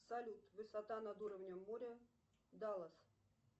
салют высота над уровнем моря даллас